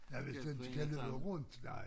Ja hvis det ikke kan løbe rundt nej